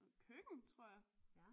Køkken tror jeg